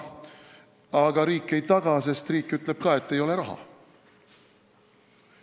Aga riik ei taga, sest riik ütleb ka, et ei ole raha.